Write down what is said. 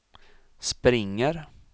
springer